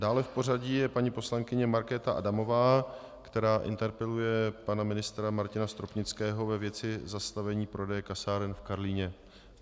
Dále v pořadí je paní poslankyně Markéta Adamová, která interpeluje pana ministra Martina Stropnického ve věci zastavení prodeje kasáren v Karlíně.